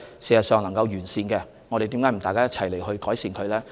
如果能完善，為何大家不一起去改善？